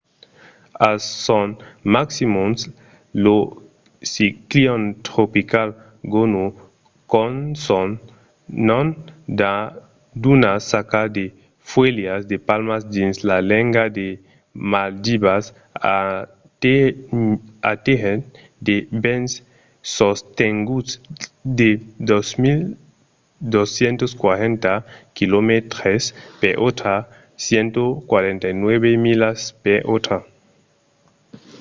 a son maximum lo ciclion tropical gonu qu'a son nom d'una saca de fuèlhas de palma dins la lenga de maldivas atenhèt de vents sostenguts de 240 quilomètres per ora 149 milas per ora